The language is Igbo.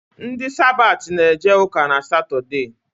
Ndi Sabati na-eje ụka n’Satọdee